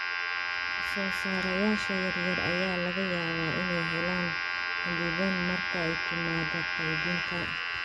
Soosaarayaasha yaryar ayaa laga yaabaa inay helaan xaddidan marka ay timaado qaybinta.